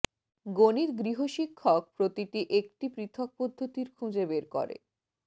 গণিত গৃহশিক্ষক প্রতিটি একটি পৃথক পদ্ধতির খুঁজে বের করে